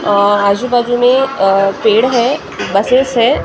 और आजो बाजु में अ पेड़ हैं बसीस हैं ।